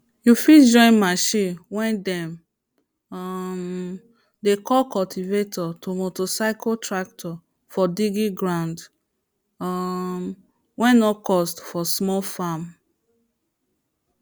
you fit join machine way dem um dey call cultivator to motorcycle tractor for digging ground um way no cost for small farm